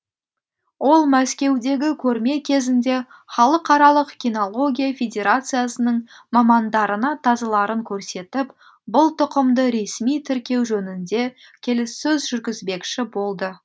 ол мәскеудегі көрме кезінде халықаралық кинология федерациясының мамандарына тазыларын көрсетіп бұл тұқымды ресми тіркеу жөнінде келіссөз жүргізбекші болды